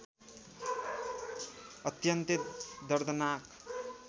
अत्यन्तै दर्दनाक